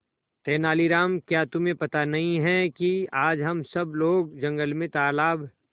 तेनालीराम क्या तुम्हें पता नहीं है कि आज हम सब लोग जंगल में तालाब